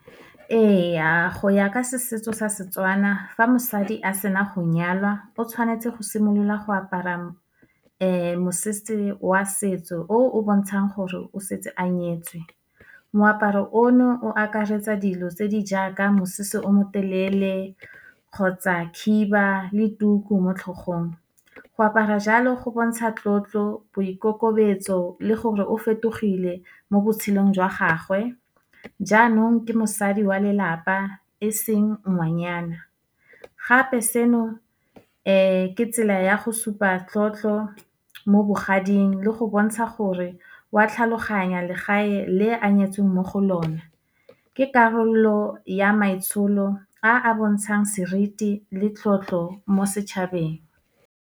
Ee, go ya ka setso sa Setswana, fa mosadi a sena go nyalwa, o tshwanetse go simolola go apara mosese wa setso, o o bontshang gore o setse a nyetswe. Moaparo ono o akaretsa dilo tse di jaaka mosese o motelele, kgotsa khiba le tuku mo tlhogong. Go apara jalo, go bontsha tlotlo, boikokobetso le gore o fetogile mo botshelong jwa gagwe, jaanong ke mosadi wa lelapa, e seng ngwanyana. Gape seno ke tsela ya go supa tlotlo, mo bogading le go bontsha gore wa tlhaloganya legae le a nyetsweng mo go lona, ke karolo ya maitsholo a a bontshang seriti, le tlotlo mo setšhabeng.